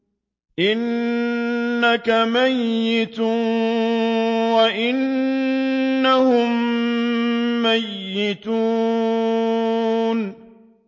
إِنَّكَ مَيِّتٌ وَإِنَّهُم مَّيِّتُونَ